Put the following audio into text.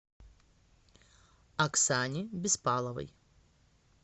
оксане беспаловой